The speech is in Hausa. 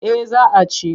Eh za a ci.